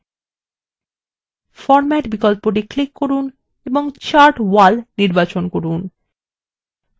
chart এলাকা format করার জন্য format বিকল্পটি click করুন এবং chart wall নির্বাচন করুন